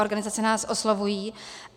Organizace nás oslovují.